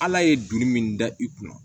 Ala ye donli min da i kunna